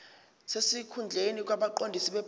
sesikhundleni kwabaqondisi bebhodi